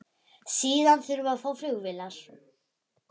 Síðan þurfum við að fá flugvélar.